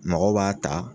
Mɔgɔw b'a ta